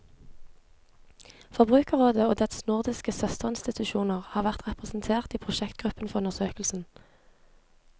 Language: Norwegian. Forbrukerrådet og dets nordiske søsterinstitusjoner har vært representert i prosjektgruppen for undersøkelsen.